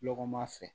Lɔgɔma fɛn